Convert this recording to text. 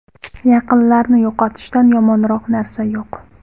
Yaqinlarni yo‘qotishdan yomonroq narsa yo‘q.